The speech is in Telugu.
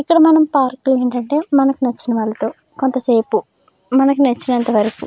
ఇక్కడ మనం పార్క్ లో ఏంటంటే మనకు నచ్చిన వాళ్ళతో కొంతసేపు మనకు నచ్చినంతవరకు --